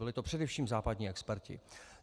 Byli to především západní experti.